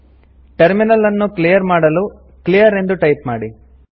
terminal ಅನ್ನು clear ಮಾಡಲು clear ಎಂದು ಟೈಪ್ ಮಾಡಿ